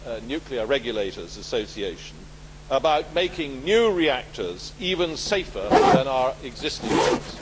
Nuclear Regulators Association, about making new reactors even safer than our existing ones.